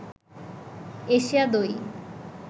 Asia দই